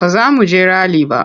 Ba za mu je rali ba.